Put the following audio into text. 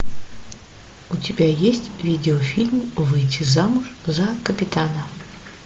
у тебя есть видеофильм выйти замуж за капитана